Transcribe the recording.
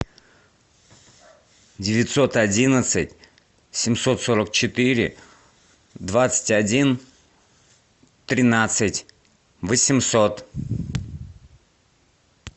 девятьсот одиннадцать семьсот сорок четыре двадцать один тринадцать восемьсот